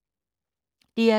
DR2